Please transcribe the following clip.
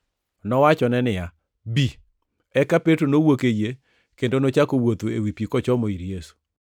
Nowachone niya, “Bi.” Eka Petro nowuok e yie kendo nochako wuotho ewi pi kochomo ir Yesu.